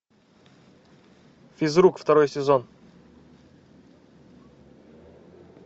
физрук второй сезон